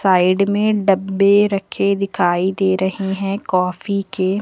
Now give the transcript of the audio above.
Side में डब्बे रखे दिखाई दे रहे हैं काफी के।